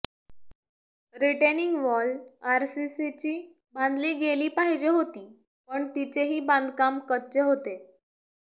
retaining wall आरसीसीची बांधली गेली पाहिजे होती पण तिचेही बांधकाम कच्चे होते